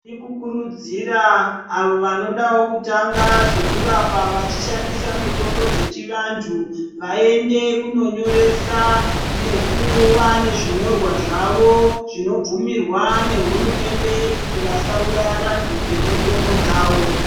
Tirikukurudzira avo vanodawo kutanga zvekurapa vachishandisa mitombo dzechivantu vaende kunonyeresa, nekuva nezvinyorwa zvavo zvinobvumirwa nehurumende kuti vasauraye vantu ngemitombo dzawo.